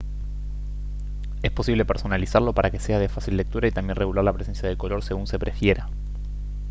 es posible personalizarlo para que sea de fácil lectura y también regular la presencia de color según se prefiera